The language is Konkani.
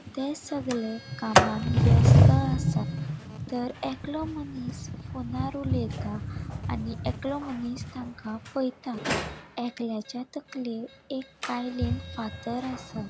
ते सगळे कामांन व्यस्त असा तर एकलों मनिस फोनार उलयेता आणि एकलो मनिस ताका पएता एकल्याचा तकलेर एक कायलेन फाथर असा.